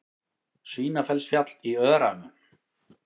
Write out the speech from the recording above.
Svínafellsfjall í Öræfum.